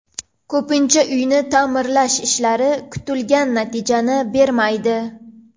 Ko‘pincha uyni ta’mirlash ishlari kutilgan natijani bermaydi.